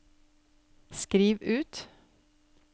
skriv ut